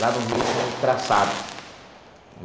Lá no Rio, a gente chama de traçado.